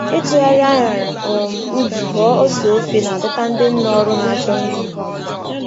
Ịtụgharị añara um ubi ghọọ ose ofe na-adọta ndị nne ọrụ na-achọ nri ngwa ngwa.